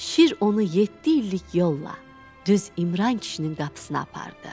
Şir onu yeddi illik yolla düz İmran kişinin qapısına apardı.